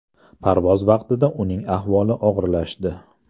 Parvoz vaqtida uning ahvoli og‘irlashdi.